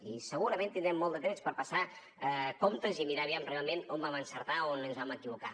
i segurament tindrem molt de temps per passar comptes i mirar aviam realment on ho vam encertar o on ens vam equivocar